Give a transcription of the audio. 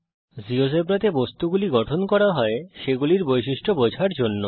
জীয়োজেব্রাতে বস্তুগুলি গঠন করা হয় সেগুলির বৈশিষ্ট্যগুলি বোঝার জন্য